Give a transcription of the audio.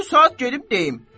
Bu saat gedib deyim.